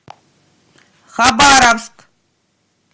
хабаровск